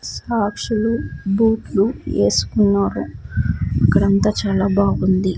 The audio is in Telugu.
సాక్షులు బూట్లు ఏసుకున్నారు ఇక్కడ అంత చాలా బాగుంది.